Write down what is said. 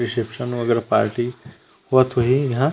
reception वगेरा party होत होही इहा--